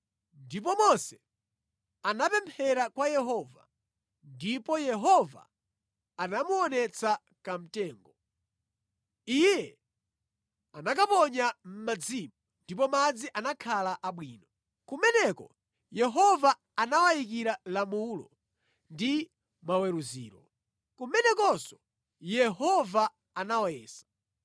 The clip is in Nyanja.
Ndipo Mose anapemphera kwa Yehova, ndipo Yehova anamuonetsa kamtengo. Iye anakaponya mʼmadzimo ndipo madzi anakhala abwino. Kumeneko Yehova anawayikira lamulo ndi maweruziro. Kumenekonso Yehova anawayesa.